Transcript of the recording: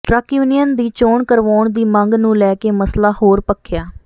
truck union ਦੀ ਚੋਣ ਕਰਵਾਉਣ ਦੀ ਮੰਗ ਨੂੰ ਲੈ ਕੇ ਮਸਲਾ ਹੋਰ ਭਖਿਆ